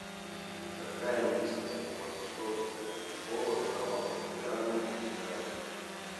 какая индийская философская школа стала популярной в китае